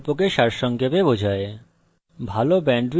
এটি কথ্য tutorial প্রকল্পকে সারসংক্ষেপে বোঝায়